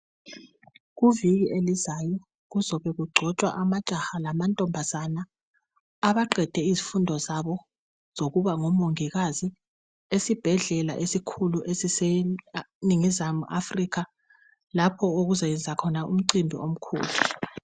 Kuviki elizayo kuzobe kugcotshwa amajaha lamantombazana abaqede izifundo zabo zokuba ngomongikazi esibhedlela esikhulu esiseningizimu Africa lapho okuzoyenzwa khona umcimbi omkhulu .